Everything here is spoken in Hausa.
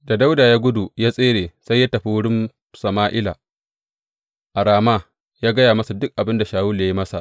Da Dawuda ya gudu ya tsere, sai ya tafi wurin Sama’ila a Rama ya gaya masa dukan abin da Shawulu ya yi masa.